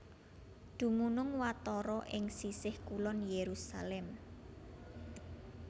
Dumunung watara ing sisih kulon Yerusalem